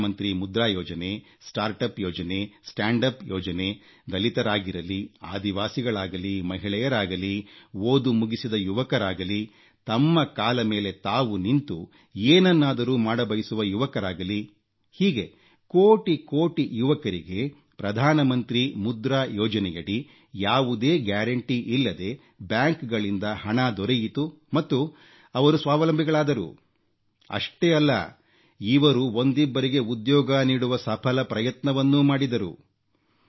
ಪ್ರಧಾನಮಂತ್ರಿ ಮುದ್ರಾ ಯೋಜನೆ start up ಯೋಜನೆ ಸ್ಟ್ಯಾಂಡ್ ಅಪ್ ಯೋಜನೆ ದಲಿತರಾಗಿರಲಿ ಆದಿವಾಸಿಗಳಾಗಲಿ ಮಹಿಳೆಯರಾಗಲಿ ಓದು ಮುಗಿಸಿದ ಯುವಕರಾಗಲಿ ತಮ್ಮ ಕಾಲ ಮೇಲೆ ತಾವು ನಿಂತು ಏನನ್ನಾದರೂ ಮಾಡಬಯಸುವ ಯುವಕರಾಗಲಿ ಹೀಗೆ ಕೋಟಿಕೋಟಿ ಯುವಕರಿಗೆ ಪ್ರಧಾನಮಂತ್ರಿ ಮುದ್ರಾ ಯೋಜನೆಯಡಿ ಯಾವುದೇ ಗ್ಯಾರಂಟಿಯಿಲ್ಲದೆ ಬ್ಯಾಂಕ್ಗಳಿಂದ ಹಣ ದೊರೆಯಿತು ಮತ್ತು ಅವರು ಸ್ವಾವಲಂಬಿಗಳಾದರು ಅಷ್ಟೇ ಅಲ್ಲ ಇವರು ಒಂದಿಬ್ಬರಿಗೆ ಉದ್ಯೋಗ ನೀಡುವ ಸಫಲ ಪ್ರಯತ್ನವನ್ನೂ ಮಾಡಿದರು